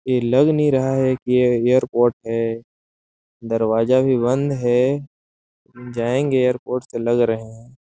ये लग नहीं रहा है कि ये ऎयरपोर्ट है दरवाजा भी बंद है जाएंगे ऎयरपोर्ट तो लग रहा हैं ।